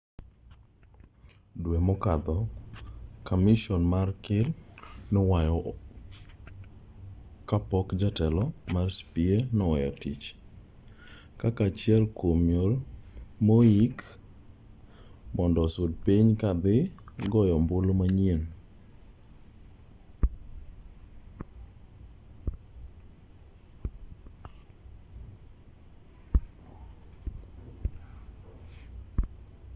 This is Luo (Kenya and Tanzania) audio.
due mokadho kamison mar kir ne owuoyo kapok jatelo mar cep noweyo tich kaka achiel kuom yore mohiki mondo osud pinyno ka dhi goyo ombulu manyien